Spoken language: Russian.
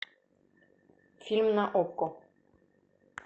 фильм на окко